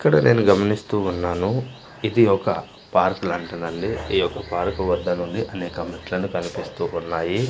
ఇక్కడ నేను గమనిస్తూ ఉన్నాను ఇది ఒక పార్క్ లాంటిదండి ఈ యొక్క పార్క్ వద్ద నుండి అనేక మెట్లను కనిపిస్తూ ఉన్నాయి.